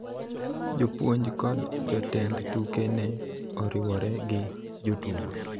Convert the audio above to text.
Jopuonj kod jotend tuke ne oriwore gi jotugo